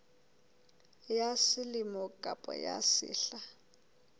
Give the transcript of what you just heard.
ya selemo kapa ya sehla